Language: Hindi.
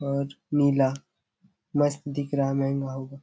और नीला मस्त दिख रहा महंगा होगा।